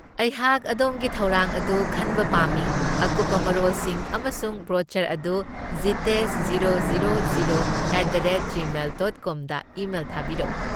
ꯑꯩꯍꯥꯛ ꯑꯗꯣꯝꯒꯤ ꯊꯧꯔꯥꯡ ꯑꯗꯨ ꯈꯟꯕ ꯄꯥꯝꯃꯤ, ꯑꯀꯨꯞꯄ ꯃꯔꯣꯜꯁꯤꯡ ꯑꯃꯁꯨꯡ ꯕ꯭ꯔꯣꯆꯔ ꯑꯗꯨ Jitesh zero zero zero at the rate gmail dot com email ꯊꯥꯕꯤꯔꯛꯎ꯫